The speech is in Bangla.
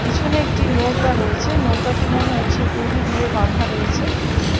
পিছনে একটি নৌকা রয়েছে। নৌকাটি মনে হচ্ছে দড়ি দিয়ে বাধা রয়েছে।